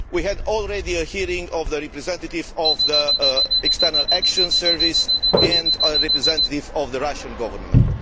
We have already had a hearing with the representative of the External Action Service and a representative of the Russian Government.